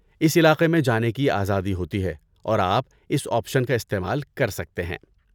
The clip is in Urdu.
اس علاقے میں جانے کی آزادی ہوتی ہے اور آپ اس آپشن کا استعمال کر سکتے ہیں۔